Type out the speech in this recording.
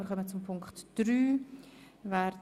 Wir kommen zu Ziffer 3.